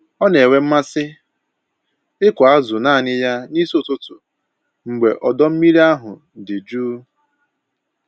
Ọ na-enwe mmasị ịkụ azụ naanị ya n'isi ụtụtụ mgbe ọdọ mmiri ahụ dị jụụ